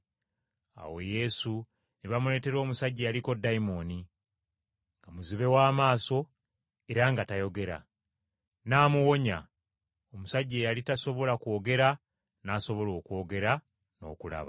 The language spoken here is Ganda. Awo Yesu ne bamuleetera omusajja eyaliko dayimooni, nga muzibe w’amaaso era nga tayogera. N’amuwonya, omusajja eyali tasobola kwogera n’asobola okwogera n’okulaba.